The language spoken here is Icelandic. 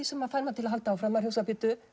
sem fær mann til að halda áfram maður